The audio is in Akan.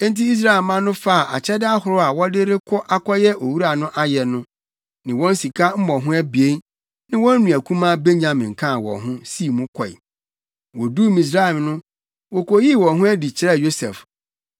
Enti Israelmma no faa akyɛde ahorow a wɔde rekɔ akɔyɛ owura no ayɛ no, ne wɔn sika mmɔho abien, ne wɔn nua kumaa Benyamin kaa wɔn ho, sii mu kɔe. Woduu Misraim no, wokoyii wɔn ho adi kyerɛɛ Yosef.